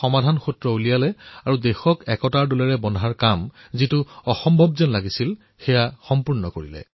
সমাধান উলিয়াই দেশক একতাৰ ডোলত বান্ধি অসম্ভৱক সম্ভৱ কৰি তুলিছিল